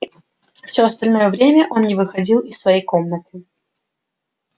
всё остальное время он не выходил из своей комнаты